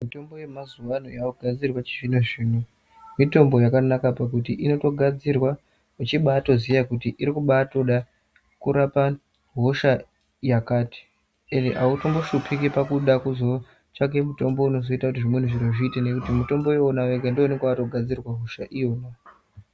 Mitombo yemazuwa ano yakugadzirwa yechizvino mitombo yakanaka pakuti inotogadzirwa uchibatoziya kuti irikubatoda kurapa hosha yakati ende autombohlupika pakuda kuzotsvake mitombo unozoite kuti zviro zviite nekuti mutombo wona woga ndiwo unonga wakatogadzirirwa hosha iyona.